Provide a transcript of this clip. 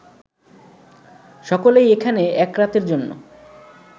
সকলেই এখানে এক রাতের জন্য